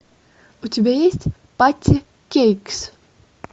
у тебя есть патти кейкс